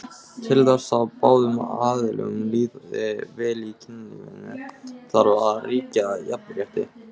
Til þess að báðum aðilum líði vel í kynlífinu þarf að ríkja jafnrétti.